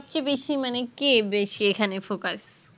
সব চেয়ে বেশি মানে কে বেশি এখানে focus